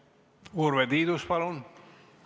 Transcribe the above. Urve Tiidus, palun!